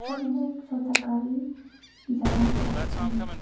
यहां में एक छोटा गाड़ी जा रहे रास्ता में।